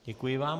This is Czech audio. Děkuji vám.